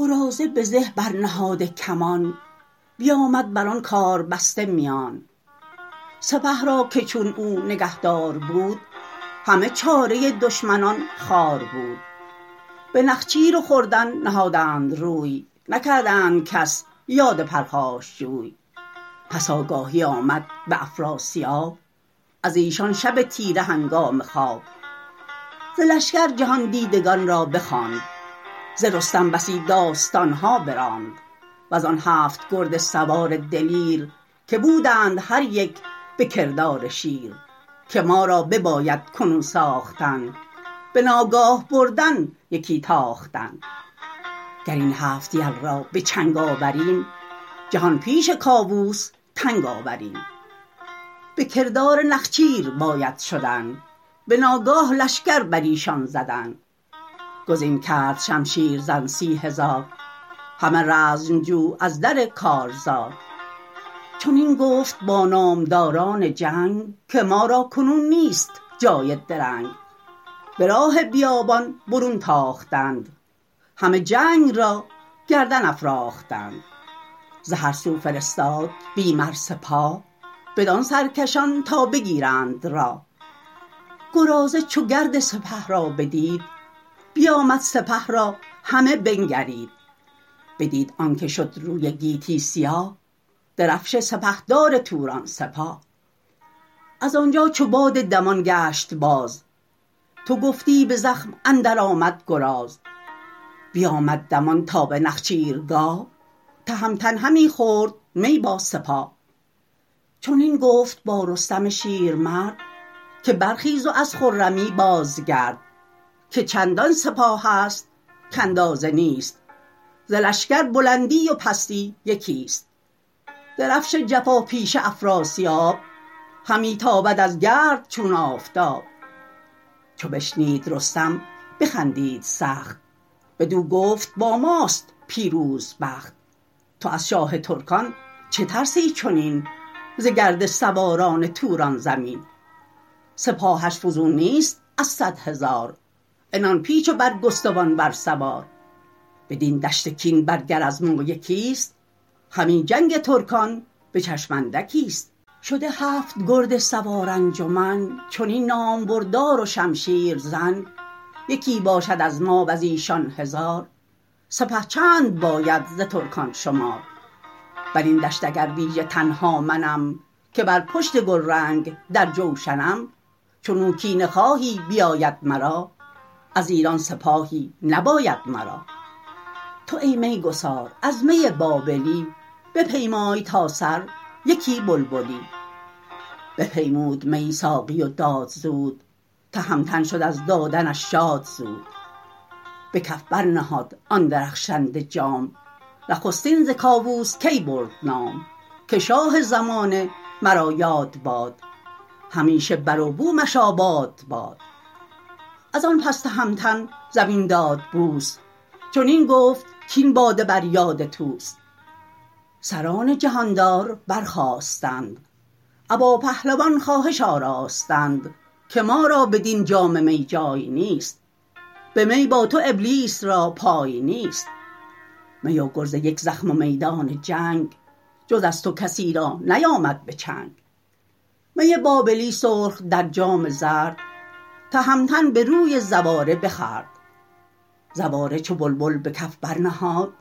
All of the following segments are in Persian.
چه گفت آن سراینده مرد دلیر که ناگه برآویخت با نره شیر که گر نام مردی بجویی همی رخ تیغ هندی بشویی همی ز بدها نبایدت پرهیز کرد که پیش آیدت روز ننگ و نبرد زمانه چو آمد بتنگی فراز هم از تو نگردد به پرهیز باز چو همره کنی جنگ را با خرد دلیرت ز جنگ آوران نشمرد خرد را و دین را رهی دیگرست سخنهای نیکو به بند اندرست کنون از ره رستم جنگجوی یکی داستانست با رنگ و بوی شنیدم که روزی گو پیلتن یکی سور کرد از در انجمن به جایی کجا نام او بد نوند بدو اندرون کاخهای بلند کجا آذر تیز برزین کنون بدانجا فروزد همی رهنمون بزرگان ایران بدان بزمگاه شدند انجمن نامور یک سپاه چو طوس و چو گودرز کشوادگان چو بهرام و چون گیو آزادگان چو گرگین و چون زنگه شاوران چو گستهم و خراد جنگ آوران چو برزین گردنکش تیغ زن گرازه کجا بد سر انجمن ابا هر یک از مهتران مرد چند یکی لشکری نامدار ارجمند نیاسود لشکر زمانی ز کار ز چوگان و تیر و نبید و شکار به مستی چنین گفت یک روز گیو به رستم که ای نامبردار نیو گر ایدون که رای شکار آیدت چو یوز دونده به کار آیدت به نخچیرگاه رد افراسیاب بپوشیم تابان رخ آفتاب ز گرد سواران و از یوز و باز بگیریم آرام روز دراز به گور تگاور کمند افگنیم به شمشیر بر شیر بند افگنیم بدان دشت توران شکاری کنیم که اندر جهان یادگاری کنیم بدو گفت رستم که بی کام تو مبادا گذر تا سرانجام تو سحرگه بدان دشت توران شویم ز نخچیر و از تاختن نغنویم ببودند یکسر برین هم سخن کسی رای دیگر نیفگند بن سحرگه چو از خواب برخاستند بران آرزو رفتن آراستند برفتند با باز و شاهین و مهد گرازنده و شاد تا رود شهد به نخچیرگاه رد افراسیاب ز یک دست ریگ و ز یک دست آب دگر سو سرخس و بیابانش پیش گله گشته بر دشت آهو و میش همه دشت پر خرگه و خیمه گشت از انبوه آهو سراسیمه گشت ز درنده شیران زمین شد تهی به پرنده مرغان رسید آگهی تلی هر سویی مرغ و نخجیر بود اگر کشته گر خسته تیر بود ز خنده نیاسود لب یک زمان ببودند روشن دل و شادمان به یک هفته زین گونه با می بدست گهی تاختن گه نشاط نشست بهشتم تهمتن بیامد پگاه یکی رای شایسته زد با سپاه چنین گفت رستم بدان سرکشان بدان گرزداران مردم کشان که از ما به افراسیاب این زمان همانا رسید آگهی بی گمان یکی چاره سازد بیاید بجنگ کند دشت نخچیر بر یوز تنگ بباید طلایه به ره بر یکی که چون آگهی یابد او اندکی بیاید دهد آگهی از سپاه نباید که گیرد بداندیش راه گرازه به زه بر نهاده کمان بیامد بران کار بسته میان سپه را که چون او نگهدار بود همه چاره دشمنان خوار بود به نخچیر و خوردن نهادند روی نکردند کس یاد پرخاشجوی پس آگاهی آمد به افراسیاب ازیشان شب تیره هنگام خواب ز لشکر جهان دیدگان را بخواند ز رستم بسی داستانها براند وزان هفت گرد سوار دلیر که بودند هر یک به کردار شیر که ما را بباید کنون ساختن بناگاه بردن یکی تاختن گراین هفت یل را بچنگ آوریم جهان پیش کاووس تنگ آوریم بکردار نخچیر باید شدن بناگاه لشکر برایشان زدن گزین کرد شمشیر زن سی هزار همه رزمجو از در کارزار چنین گفت با نامداران جنگ که ما را کنون نیست جای درنگ به راه بیابان برون تاختند همه جنگ را گردن افراختند ز هر سو فرستاد بی مر سپاه بدان سرکشان تا بگیرند راه گرازه چو گرد سپه را بدید بیامد سپه را همه بنگرید بدید آنک شد روی گیتی سیاه درفش سپهدار توران سپاه ازانجا چو باد دمان گشت باز تو گفتی به زخم اندر آمد گراز بیامد دمان تا به نخچیرگاه تهمتن همی خورد می با سپاه چنین گفت با رستم شیرمرد که برخیز و از خرمی بازگرد که چندان سپاهست کاندازه نیست ز لشکر بلندی و پستی یکیست درفش جفاپیشه افراسیاب همی تابد از گرد چون آفتاب چو بشنید رستم بخندید سخت بدو گفت با ماست پیروز بخت تو از شاه ترکان چه ترسی چنین ز گرد سواران توران زمین سپاهش فزون نیست از صدهزار عنان پیچ و برگستوان ور سوار بدین دشت کین بر گر از ما یکی ست همی جنگ ترکان بچشم اندکی ست شده هفت گرد سوار انجمن چنین نامبردار و شمشیرزن یکی باشد از ما وزیشان هزار سپه چند باید ز ترکان شمار برین دشت اگر ویژه تنها منم که بر پشت گلرنگ در جوشنم چنو کینه خواهی بیاید مرا از ایران سپاهی نباید مرا تو ای می گسار از می بابلی بپیمای تا سر یکی بلبلی بپیمود می ساقی و داد زود تهمتن شد از دادنش شاد زود به کف بر نهاد آن درخشنده جام نخستین ز کاووس کی برد نام که شاه زمانه مرا یاد باد همیشه بروبومش آباد باد ازان پس تهمتن زمین داد بوس چنین گفت کاین باده بر یاد طوس سران جهاندار برخاستند ابا پهلوان خواهش آراستند که ما را بدین جام می جای نیست به می با تو ابلیس را پای نیست می و گرز یک زخم و میدان جنگ جز از تو کسی را نیامد به چنگ می بابلی سرخ در جام زرد تهمتن بروی زواره بخورد زواره چو بلبل به کف برنهاد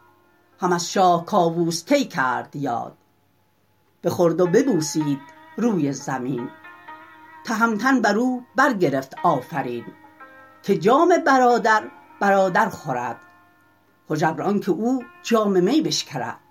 هم از شاه کاووس کی کرد یاد بخورد و ببوسید روی زمین تهمتن برو برگرفت آفرین که جام برادر برادر خورد هژبر آنک او جام می بشکرد